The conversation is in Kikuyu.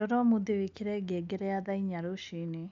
rora umuthi wĩkĩre ngengere ya thaa ĩnya rũcĩĩnĩ